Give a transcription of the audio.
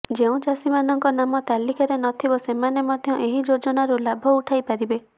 ଯେଉଁ ଚାଷୀମାନଙ୍କ ନାମ ତାଲିକାରେ ନଥିବ ସେମାନେ ମଧ୍ୟ ଏହି ଯୋଜନାରୁ ଲାଭ ଉଠାଇ ପାରିବେ